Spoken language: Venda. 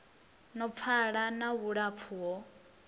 no pfala na vhulapfu ho